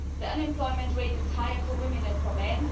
The unemployment rate is higher for women than for men